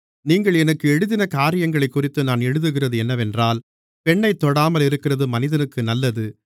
நீங்கள் எனக்கு எழுதின காரியங்களைக்குறித்து நான் எழுதுகிறது என்னவென்றால் பெண்ணைத் தொடாமலிருக்கிறது மனிதனுக்கு நல்லது